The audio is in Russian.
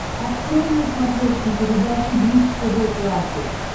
открой на смотрешке передачу бридж тв классик